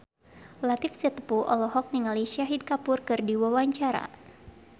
Latief Sitepu olohok ningali Shahid Kapoor keur diwawancara